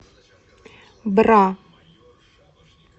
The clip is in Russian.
бра